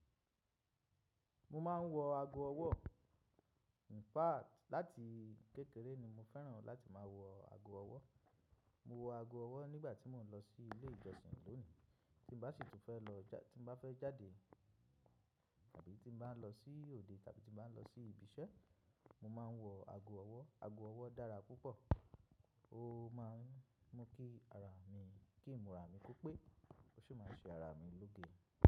Mo máa ń wọ ago ọwọ́. Infact láti kékeré ni mo fẹ́ràn láti máa wọ ago ọwọ́. Mo wọ ago ọwọ́ nígbà tí mò ń lọ sí ilé ìjọsìn lónìí. Tí ń bá sì tí fẹ́ lọ já-- tí mo bá fẹ́ jáde tàbí tí mo bá ń lọ sí òde tàbí tí mo bá ń lọ sí ibi iṣẹ́, mo máa ń wọ ago ọwọ́. Ago ọwọ́ dára púpọ̀. Ó máa ń mú kí ara mi-- kí ìmúra mi kó pé, ó sì máa ń ṣe ara mi lóge.